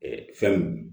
fɛn